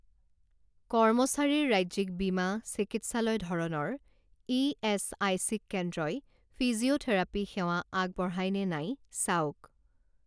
কৰ্মচাৰীৰ ৰাজ্যিক বীমা চিকিৎসালয় ধৰণৰ ইএচআইচি কেন্দ্ৰই ফিজিঅ'থেৰাপী সেৱা আগবঢ়ায় নে নাই চাওক